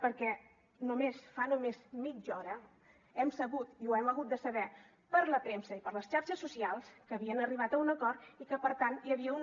perquè fa només mitja hora hem sabut i ho hem hagut de saber per la premsa i per les xarxes socials que havien arribat a un acord i que per tant hi havia un